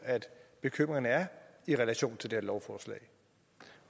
bekymringerne er i relation til det her lovforslag